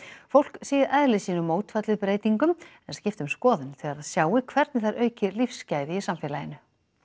fólk sé í eðli sínu mótfallið breytingum en skipti um skoðun þegar það sjái hvernig þær auki lífsgæði í samfélaginu